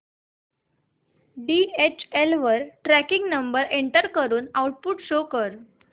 DHL वर tracking number enter करून output show कर